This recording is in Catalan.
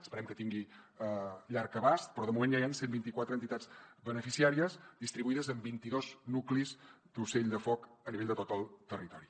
esperem que tingui llarg abast però de moment ja hi han cent i vint quatre entitats beneficiàries distribuïdes en vint i dos nuclis d’ ocell de foc a nivell de tot el territori